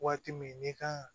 Waati min n'i kan ka